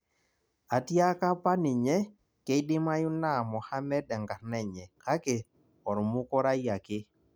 atiaka apa ninye keidimayu naa Mohamed enkarna enye kake ormukurai ake